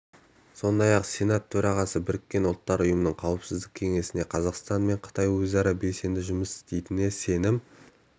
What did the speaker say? сондай-ақ сенат төрағасы біріккен ұлттар ұйымының қауіпсіздік кеңесінде қазақстан мен қытай өзара белсенді жұмыс істейтініне сенім